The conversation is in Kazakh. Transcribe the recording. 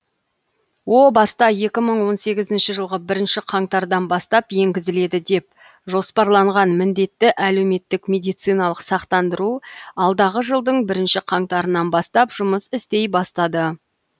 о баста екі мың он сегізінші жылғы бірінші қаңтардан бастап енгізіледі деп жоспарланған міндетті әлеуметтік медициналық сақтандыру алдағы жылдың бірінші қаңтарынан бастап жұмыс істей бастады